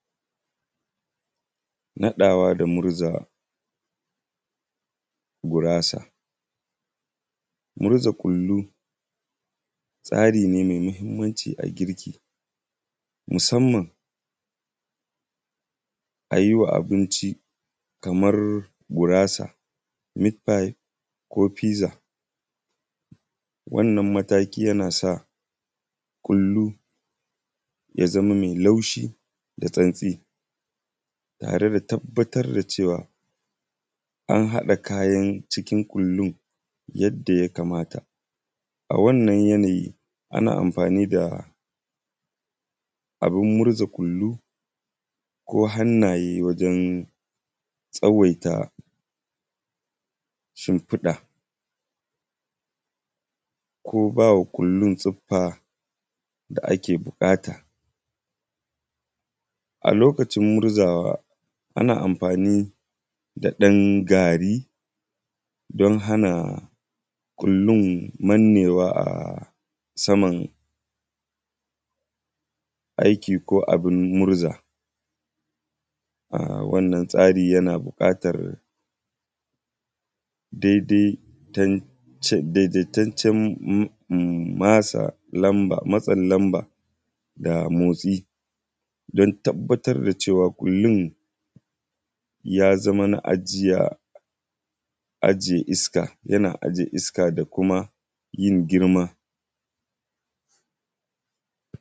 Naɗawa da murza gurasa. Murza kullu, tsari ne me mahimmanci a girki musamman a yi wa abinci, kamar gurasa, mitfayib ko fiza, wannan mataki yana sa kullu ya zama me laushi da santsi tare da tabbatar da cewa, an haɗa kayan cikin kullun yadda ya kamata. A wannan yanayi, ana amfani da abin murza kullu ko hannaye wajen tsawaita shimfiɗa ko ba wa kullun siffa da ake buƙata. A lokacin muzawa, ana amfani da ɗan gari, don hana kullun mannewa a saman aiki ko abin murza, a wanna tsari yana buƙatar dede tanc; dedetancan m; masa lamba; matsan lamba da motsi, dan tabbatar da cewa kullun ya zama na ajiya; ajiye iska, yana ajiye iska da kuma yin girma.